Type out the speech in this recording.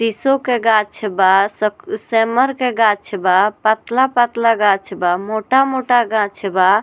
सिसो के गाछ बा सब सेमर के गाछ बा पतला-पतला गाछ बा मोटा-मोटा गाछ बा।